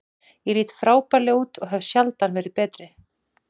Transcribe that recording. Ég lít frábærlega út og hef sjaldan verið betri.